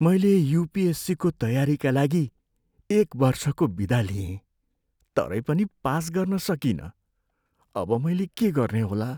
मैले युपिएससीको तयारीका लागि एक वर्षको बिदा लिएँ तरै पनि पास गर्न सकिनँ। अब मैले के गर्ने होला?